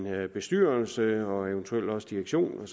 bestyrelse og eventuelt også direktion